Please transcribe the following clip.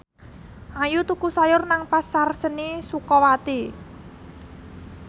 Ayu tuku sayur nang Pasar Seni Sukawati